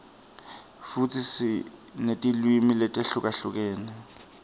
futsi sinetilwimi letihlukahlukene